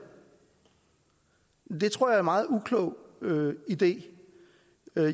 det tror er meget uklog idé